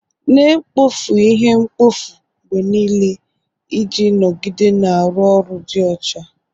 Na-ekpofu ihe mkpofu mgbe niile iji nọgide na-arụ ọrụ dị ọcha.